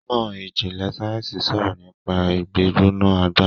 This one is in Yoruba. onimọ ìjìnlè sáyẹnsì sọrọ nipa igbigbona agbaye.